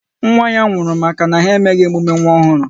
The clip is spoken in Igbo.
Nwa ya anwụrụ maka na ha emeghị emume nwa ọhụrụ?